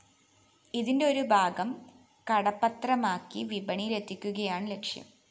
ഇതിന്റെ ഒരു ഭാഗം കടപ്പത്രമാക്കി വിപണിയിലെത്തിക്കുകയാണ് ലക്ഷ്യം